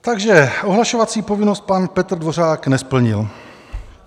Takže ohlašovací povinnost pan Petr Dvořák nesplnil.